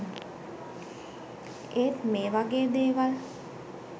ඒත් මේ වගේ දේවල්